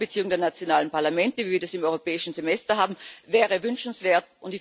unter Einbeziehung der nationalen Parlamente, wie wir das im Europäischen Semester haben, wäre wünschenswert.